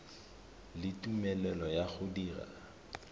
le tumelelo ya go dira